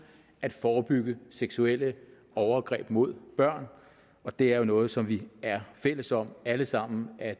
at forebygge seksuelle overgreb mod børn og det er jo noget som vi er fælles om alle sammen at